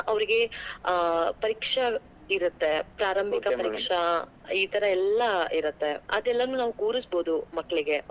ಆಹ್ ಪರೀಕ್ಷಾ ಇರತ್ತೆ ಪ್ರಾರಂಭಿಕ ಪರೀಕ್ಷಾ ಈಥರ ಎಲ್ಲಾ ಇರುತ್ತೆ. ಅದೇಲ್ಲನು ನಾವ್ ಕೂರಿಸಬೋದು ಮಕ್ಕಳಿಗೆ.